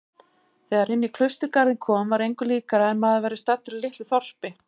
Þegar inní klausturgarðinn kom var engu líkara en maður væri staddur í litlu þorpi.